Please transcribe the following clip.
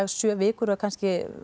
sjö vikur og kannski